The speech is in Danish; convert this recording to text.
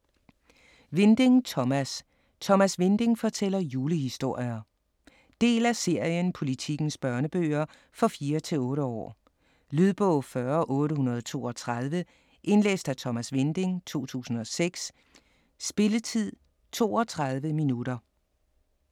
Winding, Thomas: Thomas Winding fortæller julehistorier Del af serien Politikens børnebøger. For 4-8 år. Lydbog 40832 Indlæst af Thomas Winding, 2006. Spilletid: 0 timer, 32 minutter.